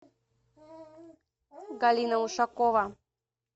галина ушакова